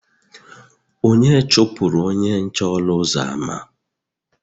onye chụpụrụ onye nche ọnụ ụzọ ámá